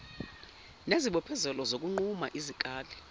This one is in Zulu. nezibophezelo zokunquma izikali